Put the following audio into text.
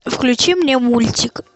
включи мне мультик